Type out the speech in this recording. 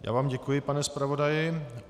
Já vám děkuji, pane zpravodaji.